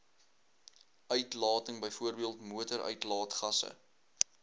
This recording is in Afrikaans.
uitlating bv motoruitlaatgasse